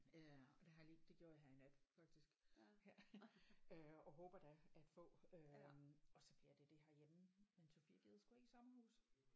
Øh og det har jeg lige det gjorde jeg her i nat faktisk ja øh op håber da at få øh og så bliver det det herhjemme men Sofia gider sgu ikke i sommerhus